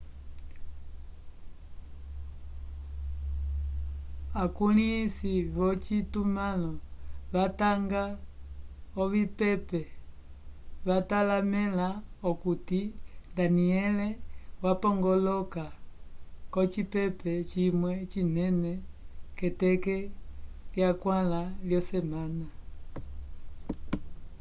akulĩhisi vyocitumãlo vatanga ovipepe vatalamẽla okuti danielle wapongoloka k'ocipepe cimwe cinene k'eteke lyakwãla yosemana